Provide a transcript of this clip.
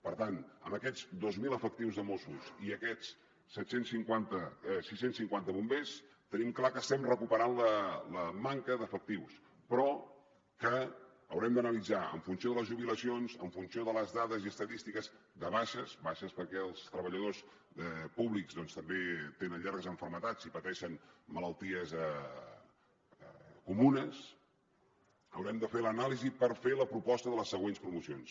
per tant amb aquests dos mil efectius de mossos i aquests sis cents i cinquanta bombers tenim clar que estem recuperant la manca d’efectius però que haurem d’analitzar en funció de les jubilacions en funció de les dades i estadístiques de baixes baixes perquè els treballadors públics doncs també tenen llargues malalties i pateixen malalties comunes haurem de fer l’anàlisi per fer la proposta de les següents promocions